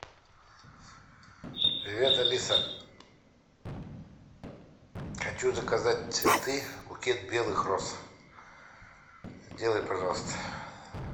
привет алиса хочу заказать цветы букет белых роз сделай пожалуйста